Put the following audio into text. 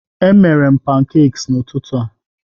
Emere m pancakes n'ụtụtụ a